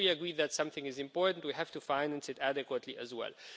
If we agree that something is important, we have to finance it adequately as well.